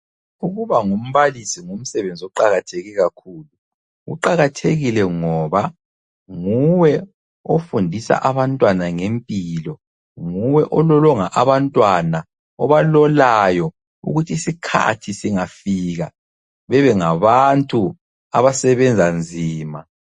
Ukubangumbalisi ngumsebenzi oqakatheke kakhulu. Uqakathekile ngoba, nguwe ofundisa abantwana ngempilo, nguwe ololonga abantwana, obalolayo ukuthisikhathi singafika bebengabantu abasebenza nzima.